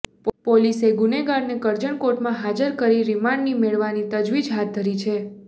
પોલીસે ગુનેગારને કરજણ કોર્ટમાં હાજર કરી રિમાન્ડની મેળવાની તજવીજ હાથધરી છે